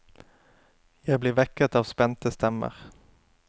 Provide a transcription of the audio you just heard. Jeg blir vekket av spente stemmer.